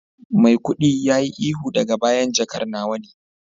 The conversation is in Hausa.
maikudi yayi ihu daga bayan jakar nawa ne